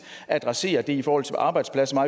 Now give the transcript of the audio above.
adressere det i forhold til arbejdspladser